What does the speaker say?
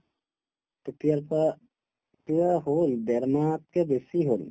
তেতিয়াৰ পাই কিবা হল ডেৰমাহতকে বেছি হল